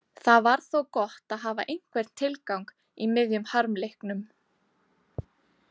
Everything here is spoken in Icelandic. Það var þó gott að hafa einhvern tilgang í miðjum harmleiknum.